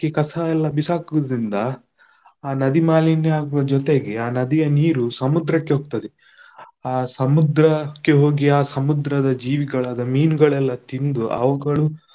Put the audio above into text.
ಕಸ ಎಲ್ಲಾ ಬಿಸಾಕುದ್ರಿಂದ ಆ ನದಿ ಮಾಲಿನ್ಯ ಆಗುವ ಜೊತೆಗೆ, ಆ ನದಿಯ ನೀರು ಸಮುದ್ರಕ್ಕೆ ಹೋಗ್ತದೆ, ಆ ಸಮುದ್ರಕ್ಕೆ ಹೋಗಿ ಆ ಸಮುದ್ರದ ಜೀವಿಗಳಾದ ಮೀನುಗಳೆಲ್ಲ ತಿಂದು ಅವುಗಳು.